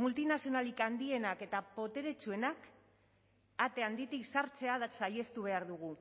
multinazionalik handienak eta boteretsuenak ate handitik sartzea saihestu behar dugu